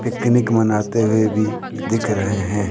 Picnic मनाते हुए भी दिख रहे हैं।